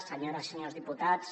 senyores i senyors diputats